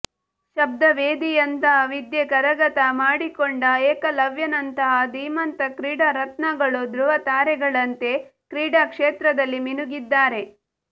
ಶಬ್ದವೇದಿಯಂತಹ ವಿದ್ಯೆ ಕರಗತ ಮಾಡಿಕೊಂಡ ಏಕಲವ್ಯನಂತಹ ಧೀಮಂತ ಕ್ರೀಡಾ ರತ್ನಗಳು ಧೃವತಾರೆಗಳಂತೆ ಕ್ರೀಡಾ ಕ್ಷೇತ್ರದಲ್ಲಿ ಮಿನುಗಿದ್ದಾರೆ